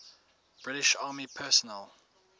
british army personnel